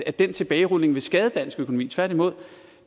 at den tilbagerulning vil skade dansk økonomi tværtimod